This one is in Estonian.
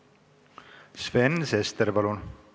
Sven Sester, palun!